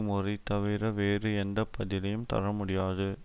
முறையைத்தவிர வேறு எந்த பதிலையும் தரமுடியாது